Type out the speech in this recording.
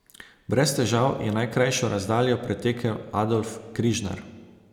Brez težav je najkrajšo razdaljo pretekel Adolf Križnar.